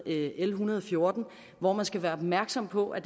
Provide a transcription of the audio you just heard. l en hundrede og fjorten hvor man skal være opmærksom på at